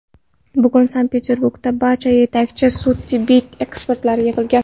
Bugun Sankt-Peterburgda barcha yetakchi sud-tibbiy ekspertlar yig‘ilgan.